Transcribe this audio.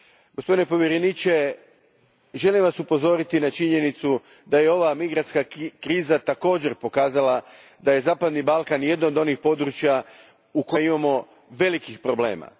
Gospodine povjereniče, želim Vas upozoriti na činjenicu da je ova migrantska kriza također pokazala da je zapadni Balkan jedan od onih područja u kojima imamo velikih problema.